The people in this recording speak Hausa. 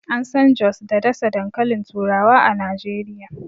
An San jos da ɗasa dankalin turawa a Najeriya.